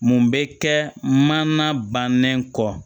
Mun bɛ kɛ mana bannen kɔ